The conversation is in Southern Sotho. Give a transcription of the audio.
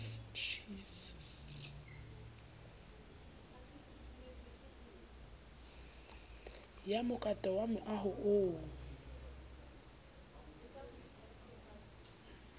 ya mokato wa moaho oo